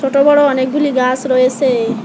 ছোট বড় অনেকগুলি গাস রয়েসে।